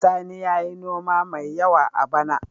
Sani ya yi noma mai yawa a bana.